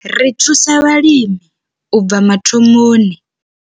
Ri thusa vhalimi u tou bva mathomoni.